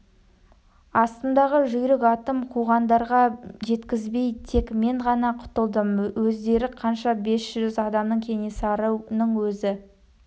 астымдағы жүйрік атым қуғандарға жеткізбей тек мен ғана құтылдым өздері қанша бес жүз адамдай кенесарының өзі